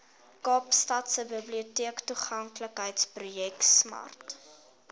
kaapstadse biblioteektoeganklikheidsprojek smart